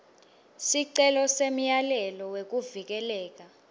sicelo semyalelo wekuvikeleka